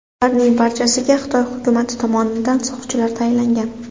Ularning barchasiga Xitoy hukumati tomonidan soqchilar tayinlangan.